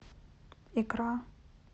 икра